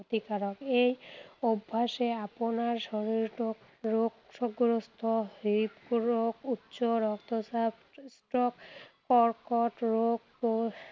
ক্ষতিকাৰক। এই অভ্যাসে আপোনাৰ শৰীৰটোক ৰোগ ৰোগগ্ৰস্ত হৃদৰোগ, উচ্চ ৰক্তচাপ, stroke কৰ্কট ৰোগ